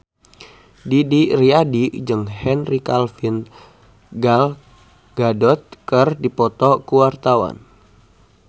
Didi Riyadi jeung Henry Cavill Gal Gadot keur dipoto ku wartawan